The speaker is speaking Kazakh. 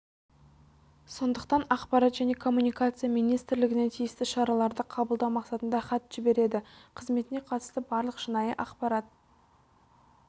сондықтан ақпарат және коммуникация министрлігіне тиісті шараларды қабылдау мақсатында хат жібереді қызметіне қатысты барлық шынайы ақпарат